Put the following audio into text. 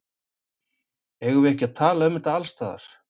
Eigum við ekki að tala um þetta alls staðar?